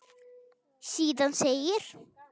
Síðan segir